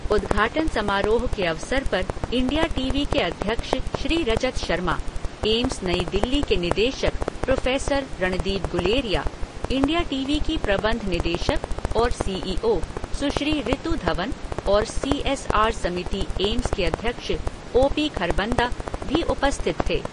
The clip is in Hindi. उद्घाटन समारोह के अवसर पर इंडिया टीवी के अध्यक्ष श्री रजत शर्मा, एम्स नई दिल्ली के निदेशक professor Randeep Guleria, India TV की प्रबंध निदेशक और सी ई ओ सुश्री रितू धवन और सी एस आर समिति एम्स के अध्यक्ष ओ.पी.खरबंदा भी उपस्थित थे।